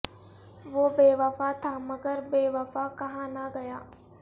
وہ بے وفا تھا مگر بے وفا کہا نہ گیا